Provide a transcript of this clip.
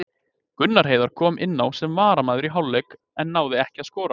Gunnar Heiðar kom inná sem varamaður í hálfleik en náði ekki að skora.